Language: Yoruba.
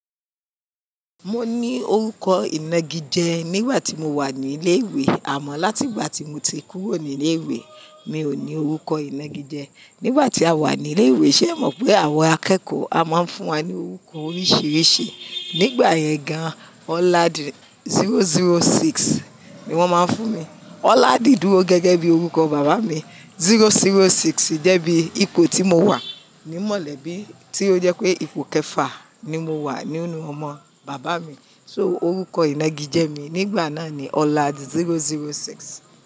Mo ní orúkọ ìnagijẹ nígbà tí mo wà ní ilé ìwé, àmọ́ láti ìgbà tí mo ti kúrò ní ilé ìwé mi ò ní orúkọ ìnagijẹ. Nígbà tí a wà ní ilé ìwé, ṣé ẹ mọ̀ pé àwọn akẹ́kọ̀ọ́ a máa ń fún wa ní orúkọ oríṣìíríṣìí. Nígbà yẹn gan, Ọládìrọ006 ni wọ́n máa ń fún mi. Ọládìdúró gẹ́gẹ́ bí orúkọ bàbá mi, 006 jẹ́ bí ipò tí mo wà ní mọ̀lẹ́bí tí ó jẹ́ pé ipò kẹfà ni mo wà nínú ọmọ bàbá mi. So orúkọ ìnagijẹ mi nígbà náà ni Ọládì006.